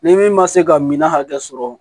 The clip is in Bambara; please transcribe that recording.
Ni min ma se ka minan hakɛ sɔrɔ